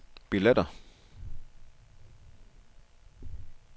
billetter